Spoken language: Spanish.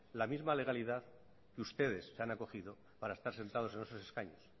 la misma legalidad que ustedes se han acogido para estar sentados en esos escaños